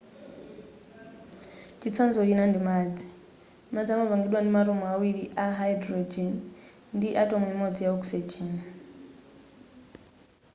chitsanzo china ndi madzi madzi amapangidwa ndi ma atom awiri a hydrogen ndi atom imodzi ya oxygen